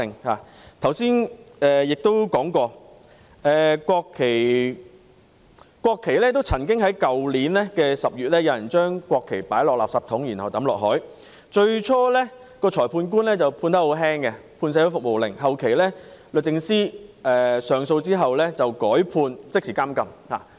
我剛才提到有人曾在去年10月將國旗放進垃圾桶，然後丟進海中，最初裁判官輕判社會服務令，後來在律政司上訴後，改判即時監禁。